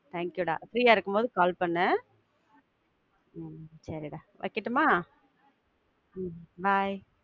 Thank you டா, free ஆ இருக்கும் போது, call பண்ணு உம் சரிடா, வைக்கட்டுமா? உம் bye.